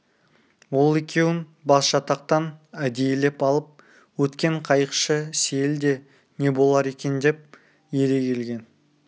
ол екеуін басжатақтан әдейілеп алып өткен қайықшы сейіл де не болар екен деп ере келген